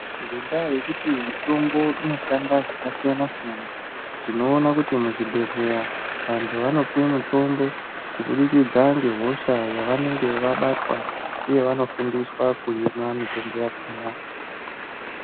Ngendaa yekuti mutombo inoshanda zvakasiyana-siyana tinoona kuti muzvibhedhleya vantu vanopuwa mitombo kubudikidza ngehosha yavanenge vabatwa uye vanofundiswa kuimwa mitombo yakhona.